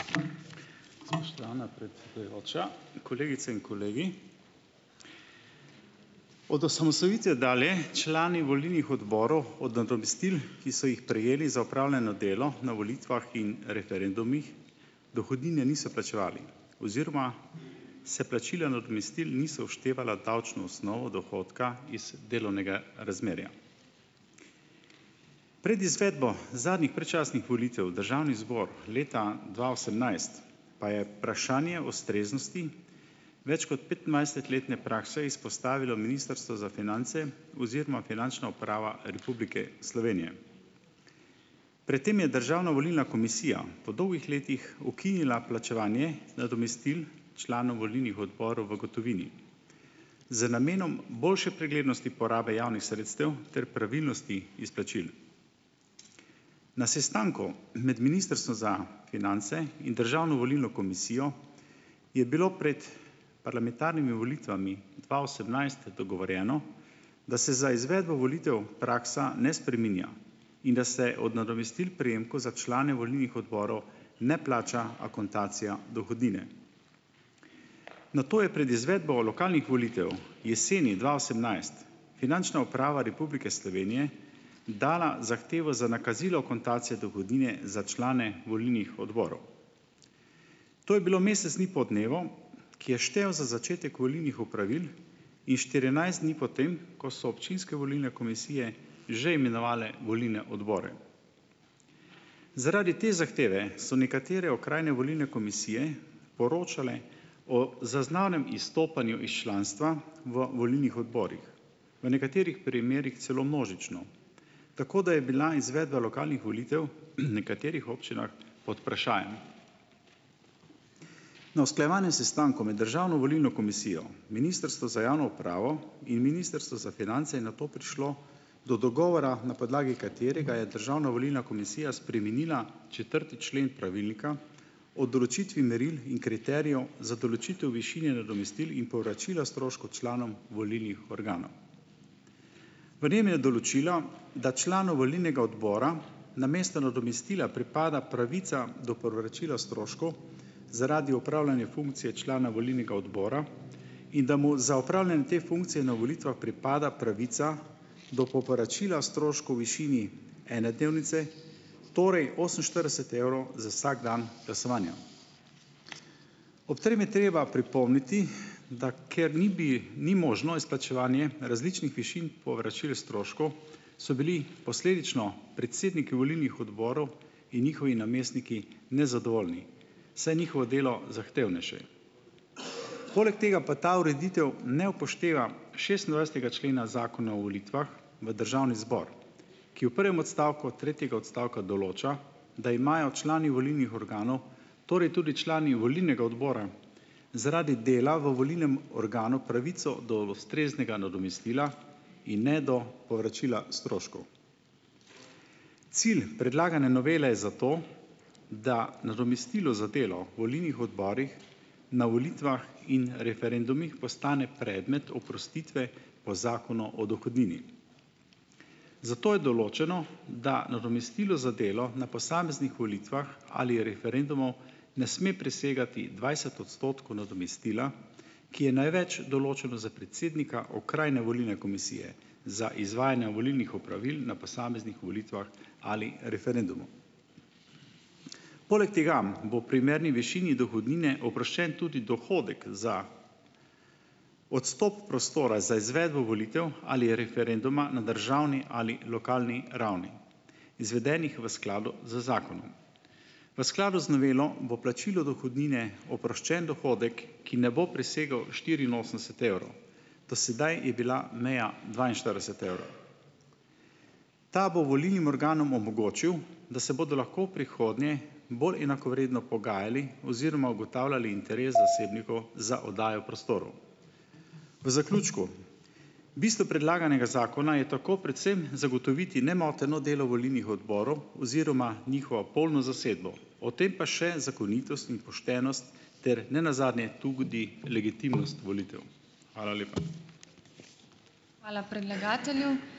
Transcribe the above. kolegice in kolegi! Od osamosvojitve dalje člani volilnih odborov od od nadomestil, ki so jih prejeli za opravljeno delo na volitvah in referendumih, dohodnine niso plačevali oziroma se plačila nadomestil niso vštevala davčno osnovo dohodka iz delovnega razmerja. Pred izvedbo zadnjih predčasnih volitev v državni zbor leta dva osemnajst pa je vprašanje ustreznosti več kot petindvajsetletne prakse izpostavilo Ministrstvo za finance oziroma Finančna uprava Republike Slovenije. Pred tem je državna volilna komisija po dolgih letih ukinila plačevanje nadomestil članov volilnih odborov v gotovini z namenom boljše preglednosti porabe javnih sredstev ter pravilnosti izplačil. Na sestanku med ministrstvom za finance in državno volilno komisijo je bilo pred parlamentarnimi volitvami dva osemnajst dogovorjeno, da se za izvedbo volitev praksa ne spreminja in da se od nadomestil prejemkov za člane volilnih odborov ne plača akontacija dohodnine. Nato je pred izvedbo lokalnih volitev jeseni dva osemnajst, Finančna uprava Republike Slovenije dala zahtevo za nakazilo akontacije dohodnine za člane volilnih odborov. To je bilo mesec dni po dnevu, ki je štel za začetek volilnih opravil in štirinajst dni po tem, ko so občinske volilne komisije že imenovale volilne odbore. Zaradi te zahteve so nekatere okrajne volilne komisije poročale o zaznanem izstopanju iz članstva v volilnih odborih. V nekaterih primerih celo množično, tako da je bila izvedba lokalnih volitev, nekaterih občinah pod vprašajem. Na usklajevanje sestankov med državno volilno komisijo, Ministrstvo za javno upravo in Ministrstvo za finance je nato prišlo do dogovora, na podlagi katerega je državna volilna komisija spremenila četrti člen pravilnika o določitvi meril in kriterijev za določitev višine nadomestil in povračila stroškov članom volilnih organov. V njem je določila, da članom volilnega odbora namesto nadomestila pripada pravica do povračila stroškov zaradi upravljanja funkcije člana volilnega odbora, in da mu za opravljanje te funkcije na volitvah pripada pravica do povračila stroškov v višini ene dnevnice, torej oseminštirideset evrov za vsak dan glasovanja. Ob tem je treba pripomniti, da ker ni bi ni možno izplačevanje različnih višin povračil stroškov, so bili posledično predsedniki volilnih odborov in njihovi namestniki nezadovoljni, saj je njihovo delo zahtevnejše. Poleg tega pa ta ureditev ne upošteva šestindvajsetega člena Zakona o volitvah v Državni zbor, ki v prvem odstavku tretjega odstavka določa, da imajo člani volilnih organov, torej tudi člani volilnega odbora zaradi dela v volilnem organu pravico do ustreznega nadomestila in ne do povračila stroškov. Cilj predlagane novele zato, da nadomestilo za delo volilnih odborih na volitvah in referendumih postane predmet oprostitve v Zakonu o dohodnini. Zato je določeno, da nadomestilo za delo na posameznih volitvah ali referendumu ne sme presegati dvajset odstotkov nadomestila, ki je največ določeno za predsednika okrajne volilne komisije za izvajanja volilnih opravil na posameznih volitvah ali referendumu. Poleg tega bo primerni višini dohodnine oproščen tudi dohodek za odstop prostora za izvedbo volitev ali referenduma na državni ali lokalni ravni, izvedenih v skladu z zakonom. V skladu z novelo bo plačilo dohodnine oproščen dohodek, ki ne bo presegel štiriinosemdeset evrov. Do sedaj je bila meja dvainštirideset evrov. Ta bo volilnim organom omogočil, da se bodo lahko v prihodnje bolj enakovredno pogajali oziroma ugotavljali interes zasebnikov za oddajo prostorov. V zaključku, bistvo predlaganega zakona je tako predvsem zagotoviti nemoteno delo volilnih odborov oziroma njihovo polno zasedbo, o tem pa še zakonitost in poštenost ter ne nazadnje tudi legitimnost volitev. Hvala lepa. Hvala predlagatelju.